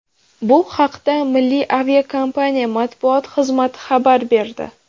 Bu haqda Milliy aviakompaniya matbuot xizmati xabar berdi.